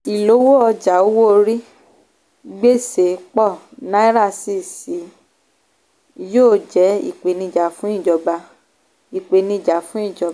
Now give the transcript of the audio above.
ìlówó ọjà owó orí gbèsè pọ̀ naira sì ṣí yóò jẹ́ ìpèníjà fún ìjọba ìpèníjà fún ìjọba